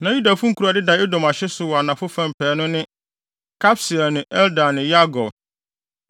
Na Yudafo nkurow a ɛdeda Edom ahye so wɔ anafo pɛɛ no ne: Kabseel ne Eder ne Yagur,